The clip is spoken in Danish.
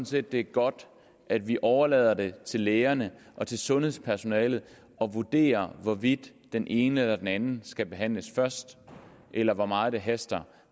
set det er godt at vi overlader det til lægerne og til sundhedspersonalet at vurdere hvorvidt den ene eller den anden skal behandles først eller hvor meget det haster